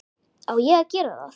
Á ég að gera það?